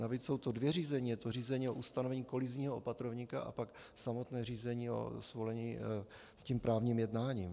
Navíc jsou to dvě řízení - je to řízení o ustanovení kolizního opatrovníka a pak samotné řízení o svolení s tím právním jednáním.